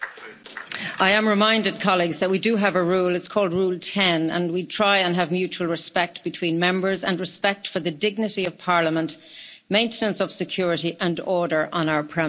I am reminded, colleagues, that we do have a rule it's called Rule 10 and we try and have mutual respect between Members and respect for the dignity of Parliament, maintenance of security and order on our premises.